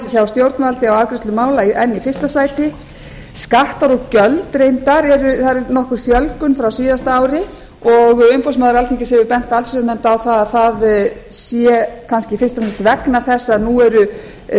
hjá stjórnvaldi á afgreiðsla mála enn í fyrsta sæti skattar og gjöld reyndar það er nokkur fjölgun frá síðasta ári umboðsmaður alþingis hefur bent allsherjarnefnd á að það sé kannski fyrst og fremst vegna þess